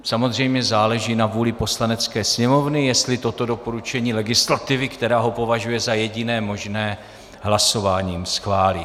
Samozřejmě záleží na vůli Poslanecké sněmovny, jestli toto doporučení legislativy, která ho považuje za jediné možné, hlasováním schválí.